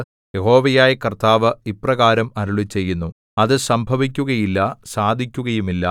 യഹോവയായ കർത്താവ് ഇപ്രകാരം അരുളിച്ചെയ്യുന്നു അത് സംഭവിക്കുകയില്ല സാധിക്കുകയുമില്ല